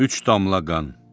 Üç damla qan.